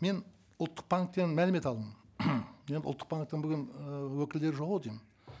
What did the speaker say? мен ұлттық банктен мәлімет алдым енді ұлттық банктен бүгін ыыы өкілдері жоқ ау деймін